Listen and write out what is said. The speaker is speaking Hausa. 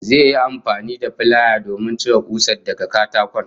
Zai yi amfani da filaya domin cire kusar daga katakon